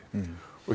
og